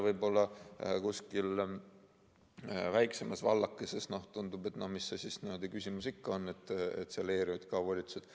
Võib-olla kuskil väiksemas vallakeses tundub, et no mis küsimus see ikka on, selle ERJK volitused.